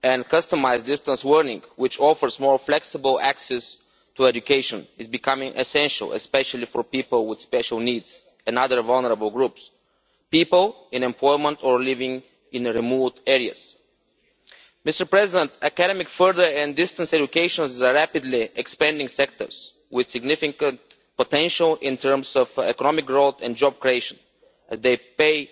Customised distance learning which offers more flexible access to education is becoming essential, especially for people with special needs and other vulnerable groups, people in employment or people living in remote areas. Mr President, academic further and distance education are rapidly expanding sectors with significant potential in terms of economic growth and job creation as they pay